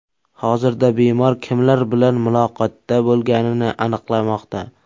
Hozirda bemor kimlar bilan muloqotda bo‘lganini aniqlamoqda.